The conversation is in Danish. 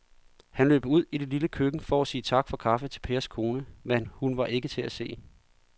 Han løb ud i det lille køkken for at sige tak for kaffe til Pers kone, men hun var ikke til at se.